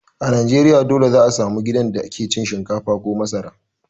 A Najeriya dole za a samu gidan da ke cin shinkafa ko masara.